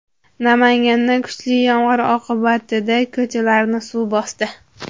Namanganda kuchli yomg‘ir oqibatida ko‘chalarni suv bosdi .